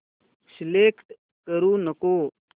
select करू नको